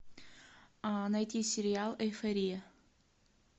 найти сериал эйфория